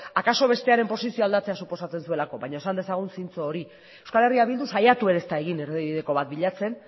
akaso bestearen posizioa aldatzea suposatzen zuelako baina esan dezagun zintzo hori euskal herria bildu saiatu ere ez da egin erdibideko bat bilatzen